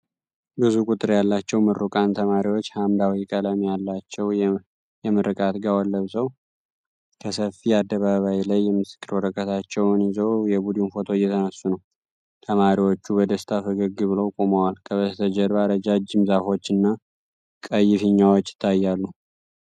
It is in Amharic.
ብዙ ቁጥር ያላቸው ምሩቃን ተማሪዎች ሐምራዊ ቀለም ያላቸው የምርቃት ጋዋን ለብሰው ከሰፊ አደባባይ ላይ የምስክር ወረቀቶቻቸውን ይዘው የቡድን ፎቶ እየተነሱ ነው። ተማሪዎቹ በደስታ ፈገግ ብለው ቆመዋል፤ ከበስተጀርባ ረጃጅም ዛፎች እና ቀይ ፊኛዎች ይታያሉ።